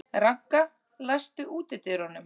Ranka, læstu útidyrunum.